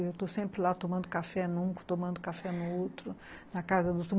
Eu estou sempre lá tomando café num, tomando café no outro, na casa do outro.